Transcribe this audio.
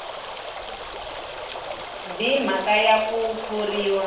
b mhaka ya ku thoriwa